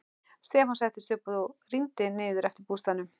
Stefán settist upp og rýndi niður eftir að bústaðnum.